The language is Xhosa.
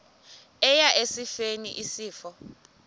eya esifeni isifo